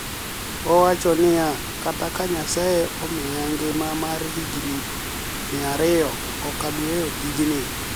Owacho niia "Kata ka niyasaye omiya nigima mar higinii 200, ok abi weyo tiyo tijnii.